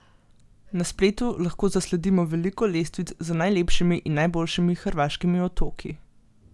Na spletu lahko zasledimo veliko lestvic z najlepšimi in najboljšimi hrvaškimi otoki.